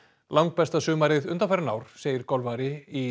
langbesta sumarið undanfarin ár segir golfari í